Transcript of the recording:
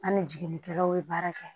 An ni jiginikɛlaw ye baara kɛ